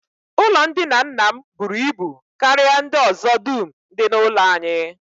Ụlọndina nna m buru ibu karịa ndị ọzọ dum dị n'ụlọ anyị